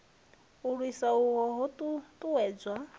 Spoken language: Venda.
u lwisa hohu ho ṱuṱuwedzwa